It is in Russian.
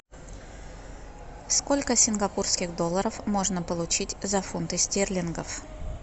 сколько сингапурских долларов можно получить за фунты стерлингов